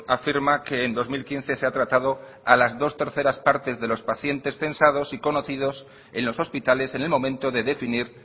afirma que en dos mil quince se ha tratado a las dos terceras partes de los pacientes censados y conocidos en los hospitales en el momento de definir